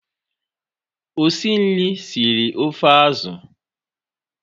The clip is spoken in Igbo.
Osinri siri ofe azụ.